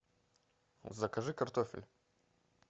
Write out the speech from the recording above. закажи картофель